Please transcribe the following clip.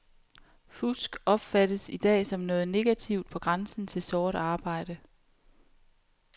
Fusk opfattes i dag som noget negativt på grænsen til sort arbejde.